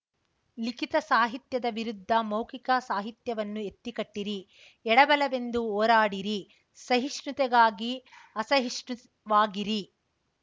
ಲಿಖಿತ ಸಾಹಿತ್ಯದ ವಿರುದ್ಧ ಮೌಖಿಕ ಸಾಹಿತ್ಯವನ್ನು ಎತ್ತಿಕಟ್ಟಿರಿ ಎಡ ಬಲವೆಂದು ಹೋರಾಡಿರಿ ಸಹಿಷ್ಣುತೆಗಾಗಿ ಅಸಹಿಷ್ಣುವಾಗಿರಿ